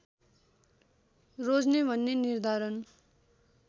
रोज्ने भन्ने निर्धारण